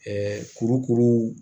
kurukuru